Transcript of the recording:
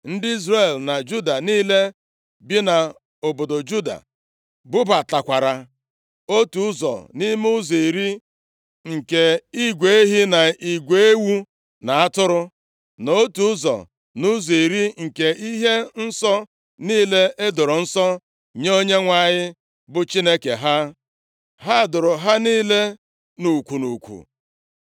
Ndị Izrel na Juda niile bi nʼobodo Juda bubatakwara otu ụzọ nʼime ụzọ iri nke igwe ehi, na igwe ewu na atụrụ, na otu ụzọ nʼụzọ iri nke ihe nsọ niile edoro nsọ nye Onyenwe anyị bụ Chineke ha. Ha doro ha niile nʼukwu nʼukwu